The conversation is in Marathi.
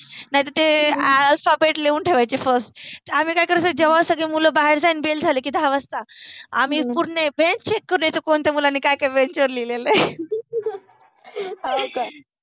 नाइ त ते अल्फाबेट लिहुन ठेवायचे फर्स्ट, आम्हि काय करायचो जेव्हा सगळे मुल बाहेर जा गेले कि दहा वाजता आम्हि पुर्ण बेंच चेक करुन यायचो कि कोणत्या मुलाने काय काय बेंचवर लिहिलेल आहे. हो का